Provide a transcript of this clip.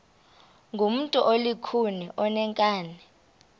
ngumntu olukhuni oneenkani